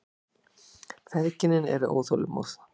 Feðginin eru óþolinmóð.